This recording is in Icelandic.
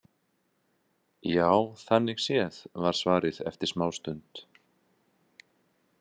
Já, þannig séð, var svarið eftir smástund.